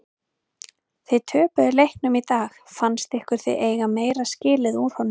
Þið töpuðu leiknum í dag fannst ykkur þið eiga meira skilið úr honum?